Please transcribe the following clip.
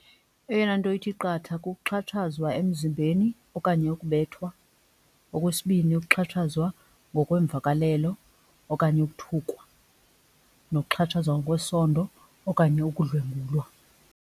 Eyona nto ithi qatha kukuxhatshazwa emzimbeni okanye ukubethwa. Okwesibini ukuxhatshazwa ngokwemvakalelo okanye ukuthukwa nokuxhatshazwa ngokwesondo okanye ukudlwengulwa.